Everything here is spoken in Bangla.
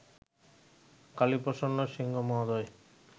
কালীপ্রসন্ন সিংহ মহোদয়